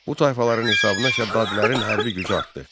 Bu tayfaların hesabına Şəddadilərin hərbi gücü artdı.